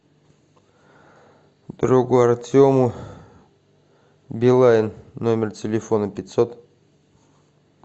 другу артему билайн номер телефона пятьсот